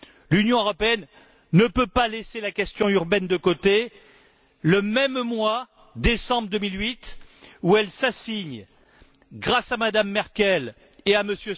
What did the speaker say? L'Union européenne ne peut pas laisser la question urbaine de côté le même mois décembre 2008 où elle s'assigne, grâce à M me Merkel ou à